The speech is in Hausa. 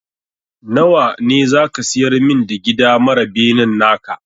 Nawa ne za ka siyar min da gida mara benen naka?